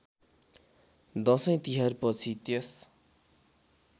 दशैँ तिहारपछि त्यस